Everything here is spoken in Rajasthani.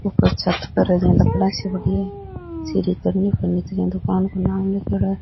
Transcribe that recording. ऊपर छत पर लकड़ा सी पड़ी है श्री करणी फर्नीचर दुकान को नाम लिखेड़ा है।